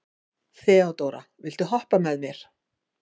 Þeódóra, viltu hoppa með mér?